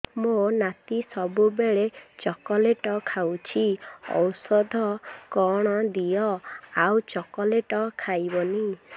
ମୋ ନାତି ସବୁବେଳେ ଚକଲେଟ ଖାଉଛି ଔଷଧ କଣ ଦିଅ ଆଉ ଚକଲେଟ ଖାଇବନି